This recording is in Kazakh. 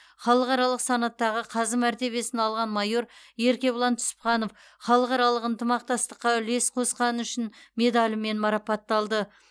халықаралық санаттағы қазы мәртебесін алған майор еркебұлан түсіпханов халықаралық ынтымақтастыққа үлес қосқаны үшін медалімен марапатталды